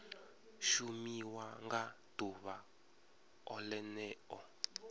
shumiwa nga ḓuvha o ḽeneo